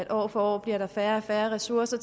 år for år bliver færre og færre ressourcer